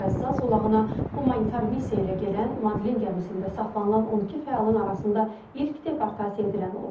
O Qəzza zolağına humanitar missiya ilə gedən Madlin gəmisində saxlanılan 12 fəalın arasında ilk deportasiya edilən olub.